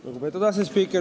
Lugupeetud asespiiker!